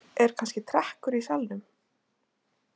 Er kannski trekkur í salnum?